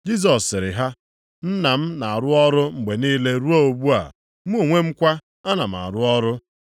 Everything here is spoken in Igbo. Jisọs sịrị ha, “Nna m na-arụ ọrụ mgbe niile ruo ugbu a, mụ onwe m kwa, ana m arụ ọrụ.”